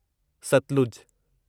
Sutlej